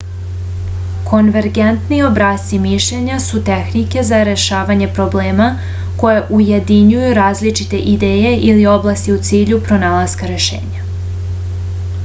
konvergentni obrasci mišljenja su tehnike za rešavanje problema koje ujedinjuju različite ideje ili oblasti u cilju pronalaska rešenja